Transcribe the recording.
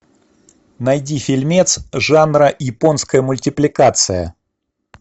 найди фильмец жанра японская мультипликация